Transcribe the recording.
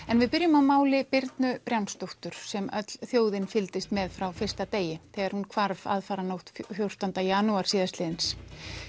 en við byrjum á máli Birnu sem öll þjóðin fylgdist með frá fyrsta degi þegar hún hvarf aðfaranótt fjórtán janúar síðastliðins